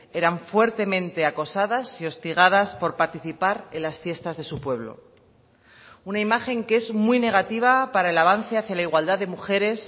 eran fuertemente acosadas y hostigadas por participar en las fiestas de su pueblo una imagen que es muy negativa para el avance hacia la igualdad de mujeres